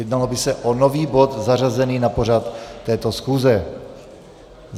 Jednalo by se o nový bod zařazený na pořad této schůze.